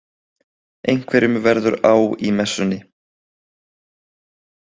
Einhverjum verður á í messunni